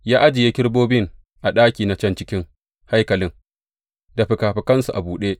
Ya ajiye kerubobin a ɗaki na can cikin haikalin, da fikafikansu a buɗe.